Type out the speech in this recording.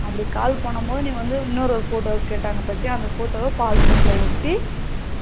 அப்படி call பண்ணும் போது நீ வந்து இன்னொரு photo கேட்டாங்க பாத்தியா அந்த photo வ passbook ல ஒட்டி